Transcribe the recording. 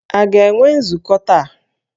A ga-enwe nzukọ taa?